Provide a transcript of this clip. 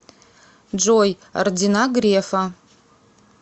джой ордена грефа